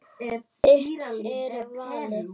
Þitt er valið.